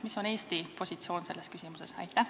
Mis on Eesti positsioon selles küsimuses?